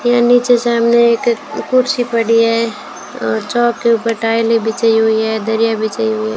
यहां नीचे सामने एक कुर्सी पड़ी है चौक के ऊपर टाइले बिछाई हुई है दरिया बिछाई हुई है।